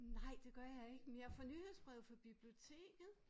Nej det gør jeg ikke men jeg får nyhedsbreve fra biblioteket